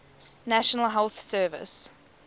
national health service